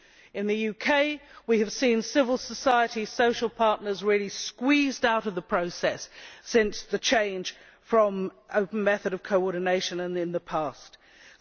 too. In the UK, we have seen civil society social partners really squeezed out of the process since the change from the past coordination method.